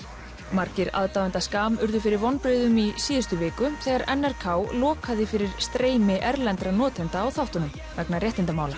margir aðdáenda urðu fyrir vonbrigðum í síðustu viku þegar n r k lokaði fyrir streymi erlendra notenda á þáttunum vegna réttindamála